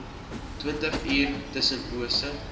twintig uur tussenpose